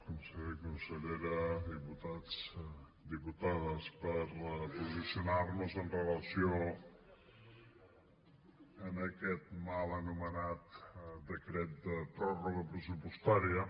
conseller consellera diputats diputades per posicionar nos amb relació a aquest mal anomenat decret de pròrroga pressupostària